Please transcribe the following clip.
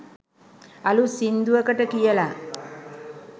අලුත් සිංදුවකට කියලා